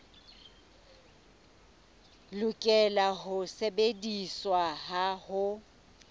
lokela ho sebediswa ha ho